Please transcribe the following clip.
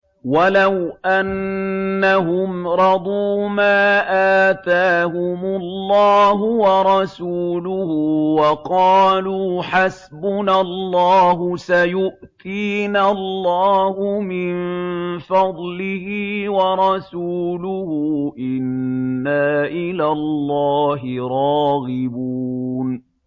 وَلَوْ أَنَّهُمْ رَضُوا مَا آتَاهُمُ اللَّهُ وَرَسُولُهُ وَقَالُوا حَسْبُنَا اللَّهُ سَيُؤْتِينَا اللَّهُ مِن فَضْلِهِ وَرَسُولُهُ إِنَّا إِلَى اللَّهِ رَاغِبُونَ